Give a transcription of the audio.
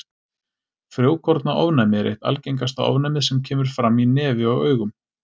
Frjókornaofnæmi er eitt algengasta ofnæmið sem kemur fram í nefi og augum.